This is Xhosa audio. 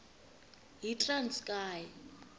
yitranskayi